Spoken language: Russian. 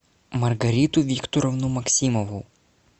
маргариту викторовну максимову